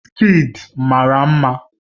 Wizkid mara mma